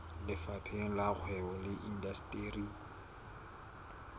lefapheng la kgwebo le indasteri